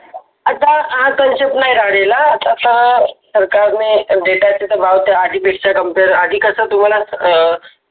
आता आतम shift नाही गाडीला आता समोर सरकारने Data speed च compare आधी कसं आधी कस तुम्हाला.